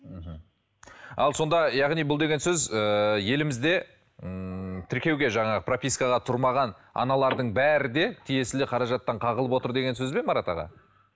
мхм ал сонда яғни бұл деген сөз ііі елімізде ммм тіркеуге жаңағы пропискаға тұрмаған аналардың бәрі де тиесілі қаражаттан қағылып отыр деген сөз бе марат аға